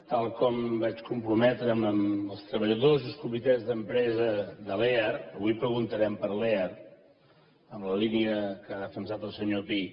tal com vaig comprometre’m amb els treballadors i els comitès d’empresa de lear avui preguntarem per lear en la línia que ha defensat el senyor pi